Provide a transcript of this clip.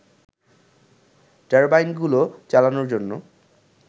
টারবাইনগুলো চালানোর জন্য